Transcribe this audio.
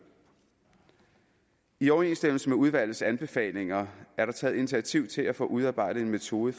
i overensstemmelse med udvalgets anbefalinger er der taget initiativ til at få udarbejdet en metode